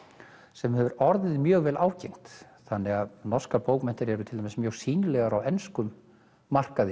sem hefur orðið mjög vel ágengt þannig að norskar bókmenntir eru til dæmis mjög sýnilegar á enskum markaði